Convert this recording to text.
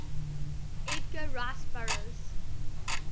edgar rice burroughs